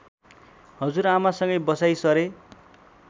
हजुरआमासँगै बसाइँ सरे